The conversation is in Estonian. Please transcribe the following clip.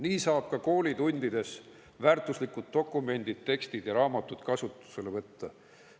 Nii saab väärtuslikud dokumendid, tekstid ja raamatud ka koolitundides kasutusele võtta.